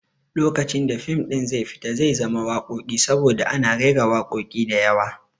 Lokacin da fim ɗin zai fita zai zama wakoki saboda ana raira wakoki diyawa